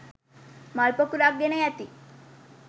මල් පොකුරක් ගෙන යති.